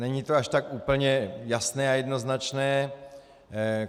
Není to až tak úplně jasné a jednoznačné.